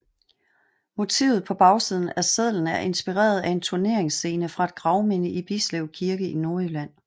Motivet på bagsiden af sedlen er inspireret af en turneringsscene fra et gravminde i Bislev Kirke i Nordjylland